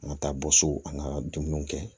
An ka taa bɔ so an ka dumuniw kɛ